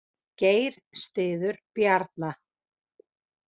Geir styður Bjarna